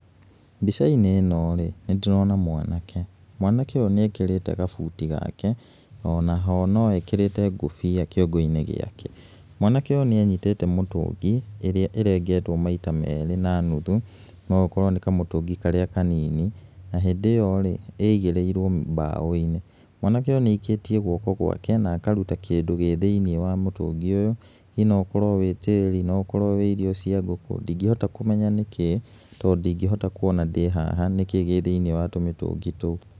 Mbica-inĩ ĩno rĩ, nĩ ndĩrona mwanake, mwanake ũyũ nĩ ekĩrĩte gabuti gake, ona ho no ekĩrĩte ngũbia kĩongo-inĩ gĩake, mwanake ũyũ nĩ anyitĩte mũtũngi íĩaĩ ĩrengetwo maita merĩ na nuthu, no gũkorwo nĩ kamũtũngi karĩa kanini, na hĩndĩ ĩyo rĩ, ĩigĩrĩirwo mbaũ-inĩ. Mwanake ũyũ nĩ aikĩtie guoko ngwake na akaruta kĩndũ gĩ thĩiniĩ wa mũtũngi ũyũ, hihi no ũkorwo nĩ tĩri, kana nĩ irio cia ngũkũ, ndĩngĩhota kũmenya nĩkĩĩ, tondũ ndingĩhota kuona ndĩ haha nĩkĩĩ gĩ thĩiniĩ wa tũmĩtũngi tũu.